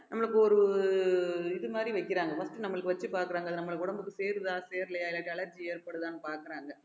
நம்மளுக்கு ஒரு இது மாதிரி வைக்கிறாங்க first நம்மளுக்கு வச்சு பார்க்கிறாங்க அது நம்மளுக்கு உடம்புக்கு சேருதா சேரலையா இல்லாட்டி allergy ஏற்படுதான்னு பார்க்கிறேன்